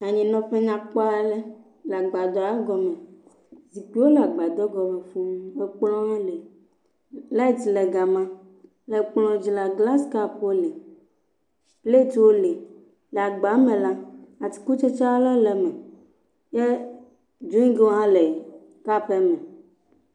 anyinɔƒe nyakpɔaɖe le gbadoa gɔme zikpiwo la gbadɔ gɔme fūu ekplɔ̃wo li light le gama le kplɔ̃ dzi la glass kapwo li plɛtwo li, le agba me la atikutsetsewo li ke drigwo hã le kapa me